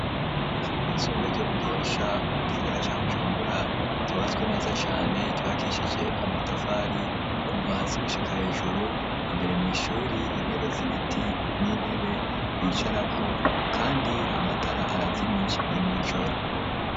Kw'ishuri ryisumbire ryo mu gihosha ,mu gisagara ca bujumbura, cubatswe neza cane, cibakishije amatafari kuva hasi gushika hejuru ,imbere mw'ishuri intebe zibiti, n'intebe bicarako ,kandi amatara arazimije ni mw'ijoro.